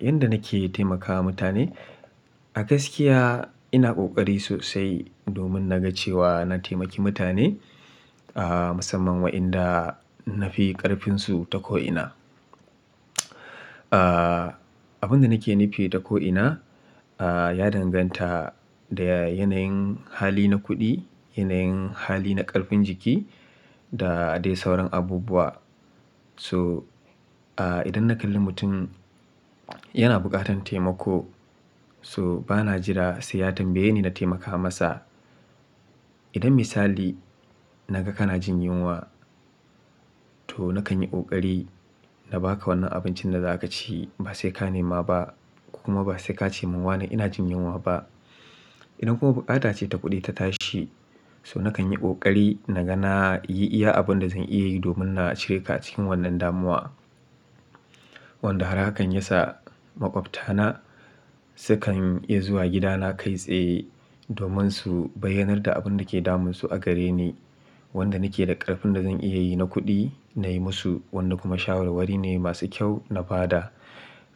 Yanda nake taimakawa mutane, a gaskiya ina ƙoƙari sosai domin na ga cewa na taimaki mutane, ah, musamman wa inda na fi ƙarfinsu ta ko'ina. Ah, abun da nake nufi ta ko'ina, ah, ya danganta da ya-- yanayin hali na kuɗi, yanayin hali na ƙarfin jiki da dai sauran abubuwa. To, ah, idan na kalli mutum yana buƙatan taimako, so bana jira sai ya tambaye ni na taimaka masa. Idan misali na ga kana jin yunwa, to na kan yi ƙoƙari na ba ka wannan abincin da za ka ci ba sai ka nema ba ko kuma ba sai ka ce mun wana ina jin yunwa ba. Idan kuma bukata ce ta kuɗi ta tashi, so na kan yi ƙoƙari na ga na yi iya abun da zan iya yi domin na cire ka a cikin wannan damuwa. Wanda har hakan yasa maƙwabta na sukan iya zuwa gidana kai tsaye domin su bayyanar da abun da ke damunsu a gare ni. Wanda nake da ƙarfin da zan iya yi na kuɗi nayi musu, wanda kuma shawara wari ne masu kyau na ba da.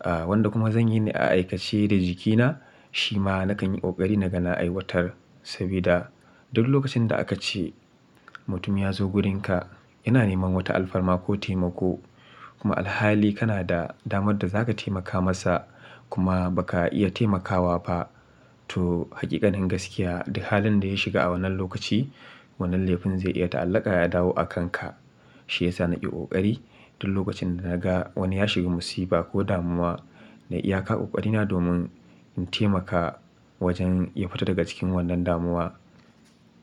Ah, wanda kuma zan yi ne a aikace da jikina shi ma na kan yi ƙoƙari na ga na aiwatar. Sabida duk lokacin da aka ce mutum ya zo wurinka yana neman wata alfarma ko taimako kuma alhali kana da damar da za ka taimaka masa kuma ba ka iya taimakawa ba, to haƙiƙanin gaskiya duk halin da ya shiga a wannan lokaci wannan laifin zai iya ta'allaka ya dawo a kanka. Shi ya sa na ƙe ƙoƙari duk lokacin da na ga wani ya shiga musifa ko damuwa nayi iyaka ƙoƙarina domin in taimaka wajen ya fita daga cikin wannan damuwa.